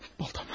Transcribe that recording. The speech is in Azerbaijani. Baltam.